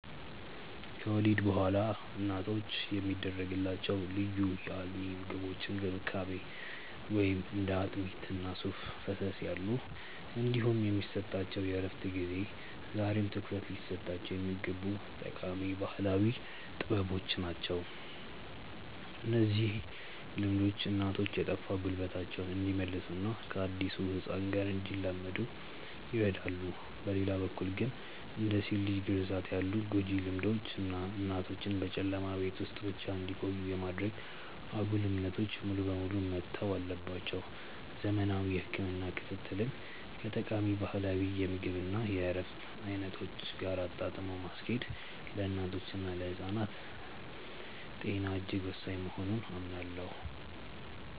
ከወሊድ በኋላ እናቶች የሚደረግላቸው ልዩ የአልሚ ምግቦች እንክብካቤ (እንደ አጥሚት እና ሱፍ ፈሰስ ያሉ) እንዲሁም የሚሰጣቸው የእረፍት ጊዜ ዛሬም ትኩረት ሊሰጣቸው የሚገቡ ጠቃሚ ባህላዊ ጥበቦች ናቸው። እነዚህ ልምዶች እናቶች የጠፋ ጉልበታቸውን እንዲመልሱና ከአዲሱ ህፃን ጋር እንዲላመዱ ይረዳሉ። በሌላ በኩል ግን፣ እንደ ሴት ልጅ ግርዛት ያሉ ጎጂ ልማዶች እና እናቶችን በጨለማ ቤት ውስጥ ብቻ እንዲቆዩ የማድረግ አጉል እምነቶች ሙሉ በሙሉ መተው አለባቸው። ዘመናዊ የህክምና ክትትልን ከጠቃሚ ባህላዊ የምግብ እና የእረፍት አይነቶች ጋር አጣጥሞ ማስኬድ ለእናቶችና ለህፃናት ጤና እጅግ ወሳኝ መሆኑን አምናለሁ።